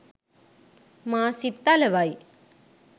මා සිත් අලවයි.